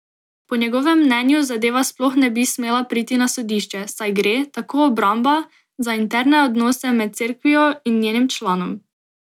Po njegovem mnenju zadeva sploh ne bi smela priti na sodišče, saj gre, tako obramba, za interne odnose med Cerkvijo in njenim članom.